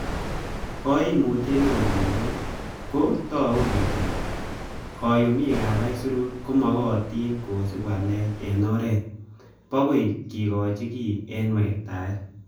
Koimutye neo missing ko togu kele koyumik ab aisurut komochotin kosiib walet en oret bokoi kikochi kiy en wektaet.